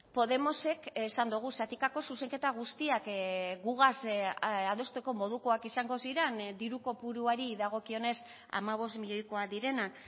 podemosek esan dogu zatikako zuzenketa guztiak gugaz adosteko modukoak izango ziren diru kopuruari dagokionez hamabost milioikoak direnak